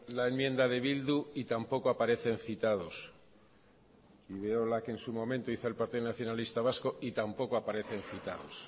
la enmienda de bildu y tampoco aparecen citados y veo la que en su momento hizo el partido nacionalista vasco y tampoco aparecen citados